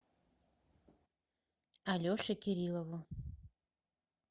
алеше кириллову